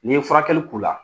Nin ye furakɛli k"ula